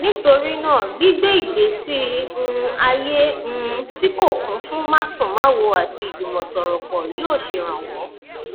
nítorí náà gbígbé ìgbésí um ayé um tí kò kún fún másùnmáwo àti ìjùmọsọrọpọ yóò ṣèrànwọ